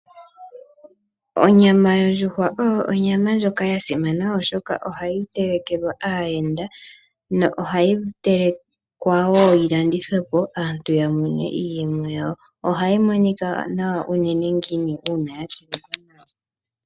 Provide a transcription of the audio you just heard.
Onyama yondjuhwa oyo onyama ndjoka yasimana oshoka ohayi telekelwa aayenda , ohayi telekwa wo yilandithwepo aantu yamone iiyemo yawo. Ohayi nawa unene ngele yatelekwa nawa.